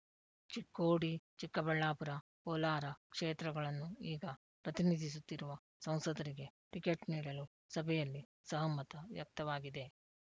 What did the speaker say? ಚಿಕ್ಕೋಡಿ ಚಿಕ್ಕಬಳ್ಳಾಪುರ ಕೋಲಾರ ಕ್ಷೇತ್ರಗಳನ್ನು ಈಗ ಪ್ರತಿನಿಧಿಸುತ್ತಿರುವ ಸಂಸದರಿಗೆ ಟಿಕೆಟ್ ನೀಡಲು ಸಭೆಯಲ್ಲಿ ಸಹಮತ ವ್ಯಕ್ತವಾಗಿದೆ